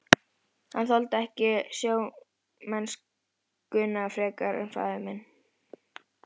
Hann þoldi ekki sjómennskuna frekar en faðir minn.